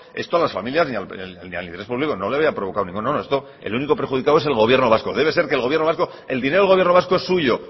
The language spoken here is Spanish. esto a las familias ni al interés público no le había provocado no no el único perjudicado es el gobierno vasco debe ser que el dinero del gobierno vasco es suyo